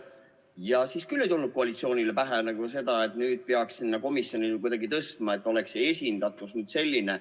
Ja siis küll ei tulnud koalitsioonil pähe, et nüüd peaks sinna komisjoni kuidagi kedagi tõstma, et oleks esindatus selline.